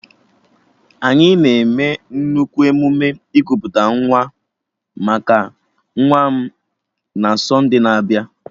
Anyị na-eme nnukwu emume ikuputa nwa maka nwa m na sonde na-abịa